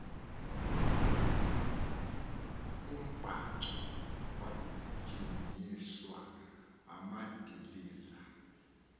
kombhaco kwajingiswa amadiliza